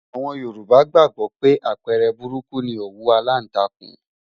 Àwọn Yorùbá gbàgbó pé àpẹẹrẹ burúkú ni òwú aláǹtakùn.